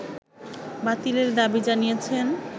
বাতিলের দাবি জানিয়েছেন